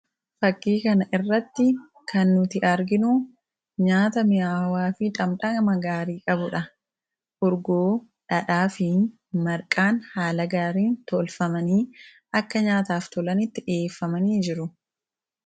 Fakkii kana irratti kan nuti arginu nyaata mi'aawaa fi dhandhama gaarii qabudha. Itittuu, dhadhaa fi marqaan haala gaariin tolfamanii akka nyaataaf tolanitti dhiyeeffamanii jiru.